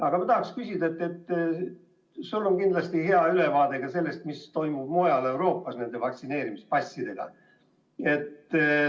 Aga ma tahaksin küsida selle kohta, et sul on kindlasti hea ülevaade sellest, mis toimub mujal Euroopas nende vaktsineerimispassidega.